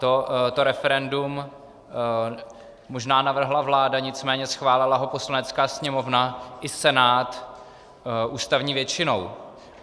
To referendum možná navrhla vláda, nicméně schválila ho Poslanecká sněmovna i Senát ústavní většinou.